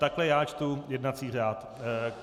Takhle já čtu jednací řád.